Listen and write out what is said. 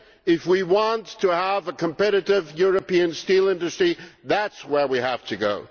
If we want to have a competitive European steel industry, that is where we have to go.